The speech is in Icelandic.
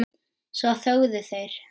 Svo þögðu þeir.